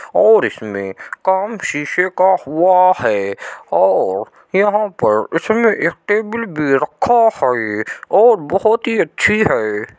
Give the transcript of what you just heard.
और इसमें काम शीशे का हुआ है और यहां पर इसमें एक टेबिल भी रखा है और बहुत ही अच्छी है।